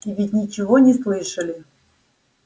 и ведь ничего не слышали